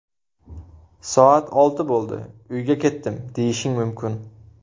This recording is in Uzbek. Soat olti bo‘ldi, uyga ketdim, deyishing mumkin.